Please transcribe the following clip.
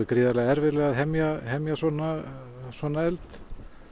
gríðarlega erfitt að hemja hemja svona svona eld